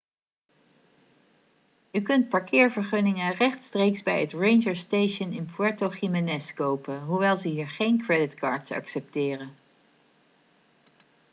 u kunt parkeervergunningen rechtstreeks bij het ranger station in puerto jiménez kopen hoewel ze hier geen creditcards accepteren